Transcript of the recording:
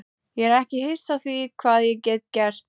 Ég er ekki hissa á því hvað ég get gert.